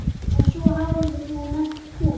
En svo hafði hún ekki komið.